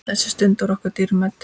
Þessi stund var okkur dýrmæt.